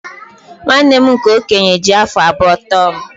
nwanne m nke okenye ji afọ abụọ too m